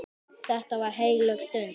Þetta var heilög stund.